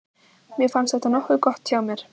Mér fannst þetta nokkuð gott hjá mér.